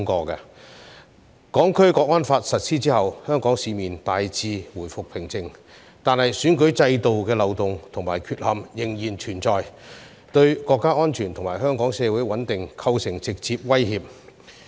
《香港國安法》實施後，香港市面大致回復平靜，但選舉制度的漏洞和缺陷仍然存在，對國家安全及香港社會穩定構成直接威脅。